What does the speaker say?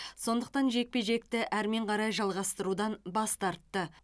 сондықтан жекпе жекті әрмен қарай жалғастырудан бас тартты